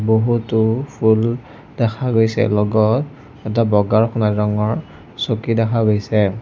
বহুতো ফুল দেখা গৈছে লগত এটা বগা আৰু সোণালী ৰঙৰ চকী দেখা গৈছে।